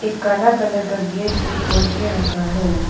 एक काला कलर का गेट भी खोल के रखा है।